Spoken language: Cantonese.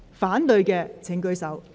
反對的請舉手。